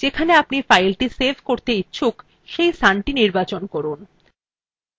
পূর্বের মতই যেখানে আপনি ফাইলthe save করতে ইচ্ছুক সেই স্থানthe নির্বাচন করুন